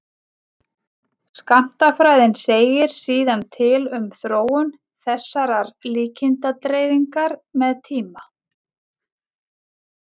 skammtafræðin segir síðan til um þróun þessarar líkindadreifingar með tíma